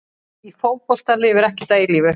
Í fótbolta lifir ekkert að eilífu.